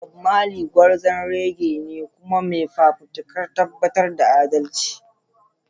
Bob Marley, gwarzon reggae ne kuma mai fafutukar tabbatar da adalci.